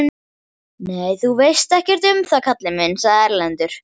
Nei, þú veist ekkert um það kallinn minn, sagði Erlendur.